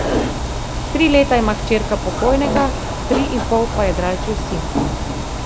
Tri leta ima hčerka pokojnega, tri in pol pa jadralčev sin.